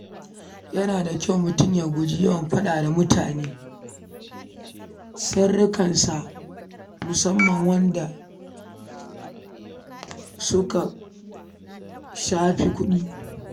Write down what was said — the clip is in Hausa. Yana da kyau mutum ya guji yawan faɗa wa mutane sirrikansa musamman waɗanda suka shafi kuɗi